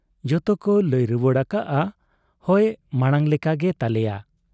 ᱡᱚᱛᱚ ᱠ ᱞᱟᱹᱭ ᱨᱩᱣᱟᱹᱲ ᱟᱠᱟᱜᱼᱟ , ᱦᱚᱭ ᱢᱟᱬᱟᱝ ᱞᱮᱠᱟᱜᱮ ᱛᱟᱞᱮᱭᱟ ᱾